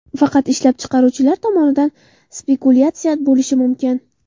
Faqat ishlab chiqaruvchilar tomonidan spekulyatsiya bo‘lishi mumkin.